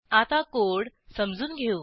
आता कोड समजून घेऊ